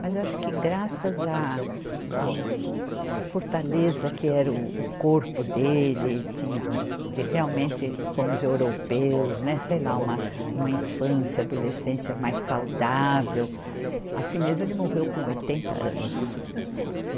Mas eu acho que graças a, ao, a fortaleza que era o, o corpo dele, tinha um, um de realmente, como os europeus, né, sei lá, uma infância, adolescência mais saudável, assim mesmo ele morreu com oitenta anos.